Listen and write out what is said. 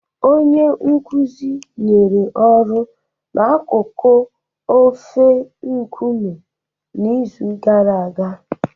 Onye nkuzi nyere ọrụ na akụkọ ofe Nkume n'izu gara aga